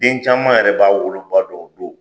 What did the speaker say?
Den caman yɛrɛ b'a woloba dɔn o don.